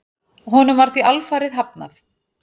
Honum var því alfarið hafnað.